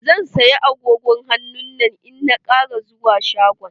Zan saya agogon hannun nan in na ƙara zuwa shagon.